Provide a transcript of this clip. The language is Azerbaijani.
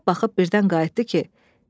Baxıb-baxıb birdən qayıtdı ki: